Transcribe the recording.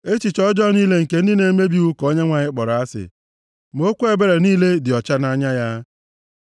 Echiche ọjọọ niile nke ndị na-emebi iwu ka Onyenwe anyị kpọrọ asị ma okwu ebere niile dị ọcha nʼanya ya.